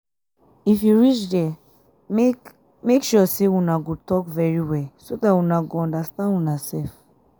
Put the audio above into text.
if you reach there make make sure una go talk very well so dat una go understand una self